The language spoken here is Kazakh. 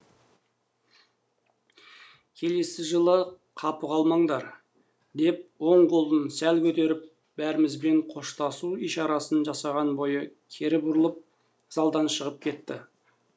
келесі жылы қапы қалмаңдар деп оң қолын сәл көтеріп бәрімізбен қоштасу ишарасын жасаған бойы кері бұрылып залдан шығып кетті